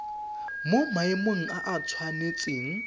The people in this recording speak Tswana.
mo maemong a a tshwanetseng